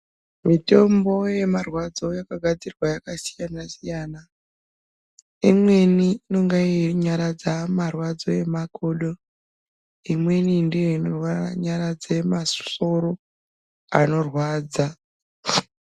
Mitombo yemarwadzo yakagadzirwa yakasiyana siyana imweni inonga yeinyaradza marwadazo emakodo imweni ndiyo inonyaradza masoro anorwadza.